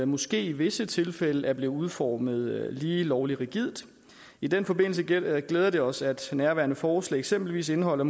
måske i visse tilfælde er blevet udformet lige lovlig rigidt i den forbindelse glæder glæder det os at nærværende forslag eksempelvis indeholder